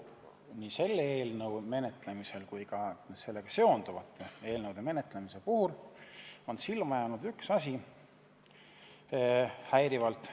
Nii selle eelnõu kui ka sellega seonduvate eelnõude menetlemisel on silma jäänud üks väga häiriv asi.